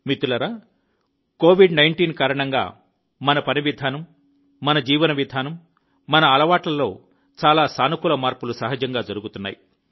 మిత్రులారా కోవిడ్ 19 కారణంగా మన పని విధానం మన జీవన విధానం మన అలవాట్లలో చాలా సానుకూల మార్పులు సహజంగా జరుగుతున్నాయి